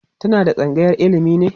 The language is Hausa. tana a tsangayar ilimi ne